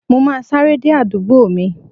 Mo ma sáré dé àdúgbò mi.